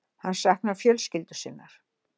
Hann saknar fjölskyldu sinnar.